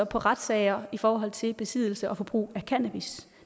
på retssager i forhold til besiddelse og brug af cannabis